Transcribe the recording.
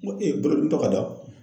N ko bolodimitɔ ka da?